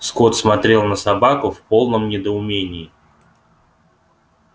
скотт смотрел на собаку в полном недоумении